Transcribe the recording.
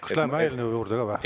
Kas läheme eelnõu juurde ka?